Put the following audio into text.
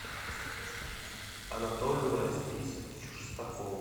анатолию рафисовичу шестакову